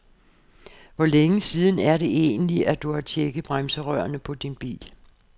Hvor længe siden er det egentlig, at du har checket bremserørene på din bil?